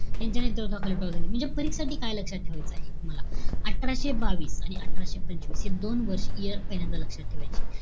यांच्या नेतृत्वाखाली उठाव झाले. म्हणजे, परीक्षेआधी काय लक्षात ठेवायचं आहे तुम्हाला? अठराशे बावीस आणि अठराशे पंचवीस हे दोन वर्ष year तर पहिल्यांदा लक्षात ठेवायचे.